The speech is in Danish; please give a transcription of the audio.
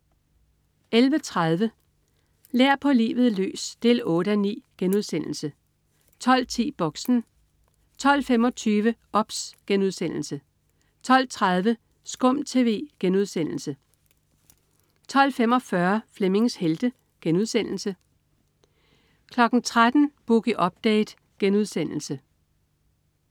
11.30 Lær på livet løs 8:9* 12.10 Boxen 12.25 OBS* 12.30 SKUM TV* 12.45 Flemmings Helte* 13.00 Boogie Update*